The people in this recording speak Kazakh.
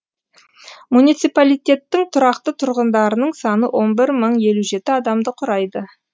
муниципалитеттің тұрақты тұрғындарының саны он бір мың елу жеті адамды құрайды